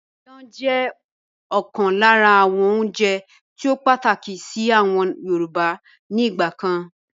Ìyàn jẹ́ ọ̀kan lára àwọn oúnjẹ tíì ó pàtàkì síí àwọn Yorùbá ni ìgbàkan